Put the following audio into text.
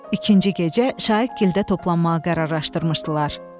İkinci gecə Şaiqgildə toplanmağa qərarlaşdırmışdılar.